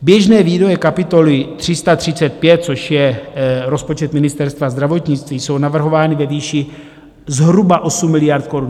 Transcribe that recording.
Běžné výdaje kapitoly 335, což je rozpočet Ministerstva zdravotnictví, jsou navrhovány ve výši zhruba 8 miliard korun.